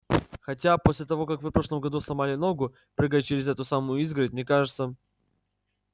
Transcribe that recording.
хотя после того как вы в прошлом году сломали ногу прыгая через эту самую изгородь мне кажется